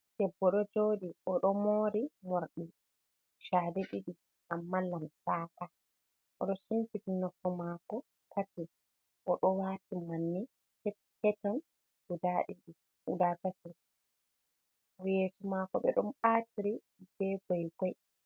Debbo ɗo joɗi oɗo mori morɗi shade ɗiɗi amma lamsaka, oɗo sumpiti napo mako tin oɗo wati manne pepeton guda ɗiɗi guda tati yesso mako ɓe ɗon atiri be goygoy.